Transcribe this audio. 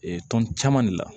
Ee tɔn caman de la